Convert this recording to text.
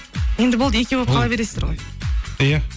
енді болды екеу болып қала бересіздер ғой иә